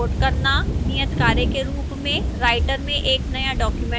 नियतकार्य के रूप में राइटर में एक नया डॉक्यूमेंट खोलें